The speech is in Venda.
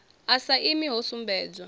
a sa imi ho sumbedzwa